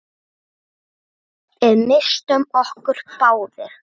Við misstum okkur báðir.